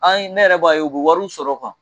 An ne yɛrɛ b'a ye u bɛ wariw sɔrɔ